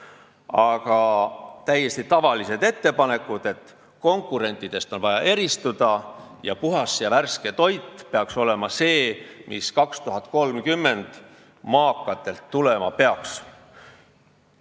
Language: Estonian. Seal on täiesti tavalised ettepanekud, et on vaja konkurentidest eristuda ning puhas ja värske toit peaks olema see, mis aastani 2030 maakatelt tulema peaks.